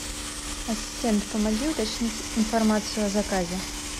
ассистент помоги уточнить информацию о заказе